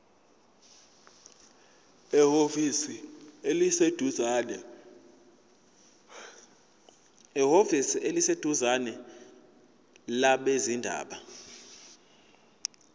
ehhovisi eliseduzane labezindaba